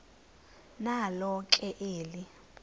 nalo ke eli